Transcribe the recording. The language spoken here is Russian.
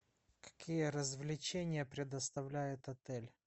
какие развлечения предоставляет отель